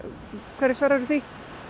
hverju svararðu því